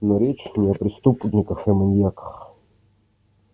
но речь не о преступниках и маньяках